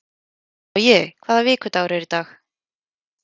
Logi, hvaða vikudagur er í dag?